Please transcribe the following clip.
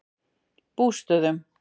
Bústöðum